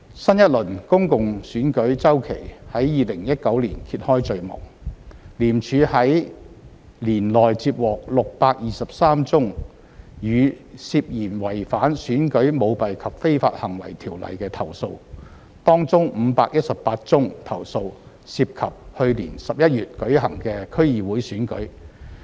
新一輪公共選舉周期在2019年揭開序幕，廉署於年內接獲623宗與涉嫌違反《選舉條例》的投訴，當中518宗投訴涉及去年11月舉行的區議會選舉。